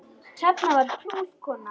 Hrefna var prúð kona.